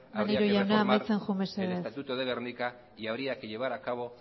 maneiro jauna amaitzen joan habría que reformar el estatuto de gernika y habría que llevar a cabo